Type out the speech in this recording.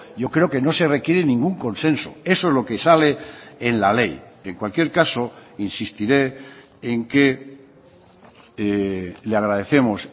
yo creo que no se requiere ningún consenso eso es lo que sale en la ley en cualquier caso insistiré en que le agradecemos